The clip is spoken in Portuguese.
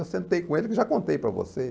Eu sentei com ele, já contei para você.